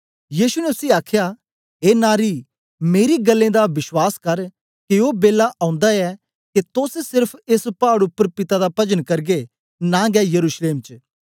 यीशु ने उसी आखया ए नारी मेरी गल्लें दा बश्वास कर के ओ बेला ओंदा ऐ के तोस सेर्फ एस पाड़ उपर पिता दा पजन करगे नां गै यरूशलेम च